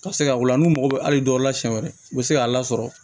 Ka se ka wula n'u mago be hali dɔw la siɲɛ wɛrɛ u be se k'a lasɔrɔ